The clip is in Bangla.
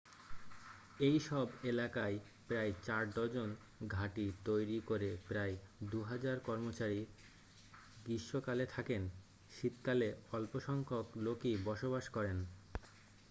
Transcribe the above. এই সব এলাকায় প্রায় 4 ডজন ঘাঁটি তৈরি করে প্রায় দুহাজার কর্মচারী গ্রীষ্মকালে থাকেন শীতকালে অল্প সংখ্যক লোকই বসবাস করেন